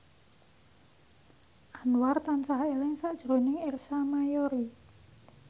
Anwar tansah eling sakjroning Ersa Mayori